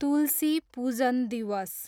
तुलसी पूजन दिवस